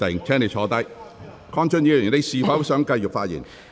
鄺俊宇議員，你是否想繼續發言？